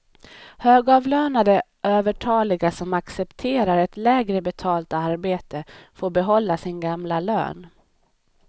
Högavlönade övertaliga som accepterar ett lägre betalt arbete får behålla sin gamla lön.